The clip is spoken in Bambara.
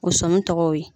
O sɔmi tɔgɔ ye